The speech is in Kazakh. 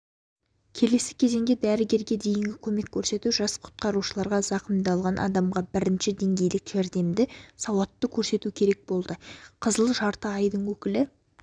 келесі кезеңде дәрігерге дейінгі көмек көрсету жас құтқарушыларға зақымдалған адамға бірінші дәрігерлік жәрдемді сауатты көрсету керек болды қызыл жарты айдың өкілі